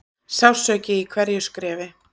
Sársauki í hverju skrefi.